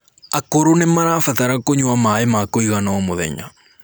akũrũ nĩmarabatara kũnyua maĩ ma kuigana o mũthenya